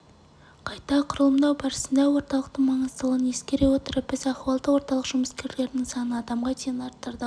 қайта құрылымдау барысында орталықтың маңыздылығын ескере отырып біз ахуалдық орталық жұмыскерлерінің санын адамға дейін арттырдық